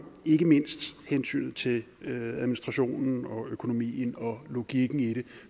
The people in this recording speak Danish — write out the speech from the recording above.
ikke mindst hensynet til administrationen og økonomien og logikken i det